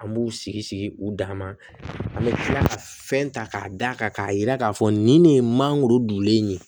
An b'u sigi sigi u dama bɛ kila ka fɛn ta k'a d'a kan k'a yira k'a fɔ nin de ye mangoro dulen ye